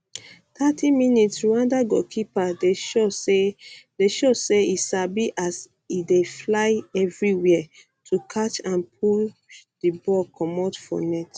30mins rwanda goalkeeper dey show say show say e sabi as dey fly evriwia to catch and push di ball comot for net